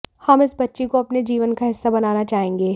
हम इस बच्ची को अपने जीवन का हिस्सा बनाना चाहेंगे